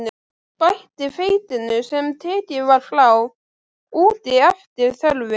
Bætið hveitinu, sem tekið var frá, út í eftir þörfum.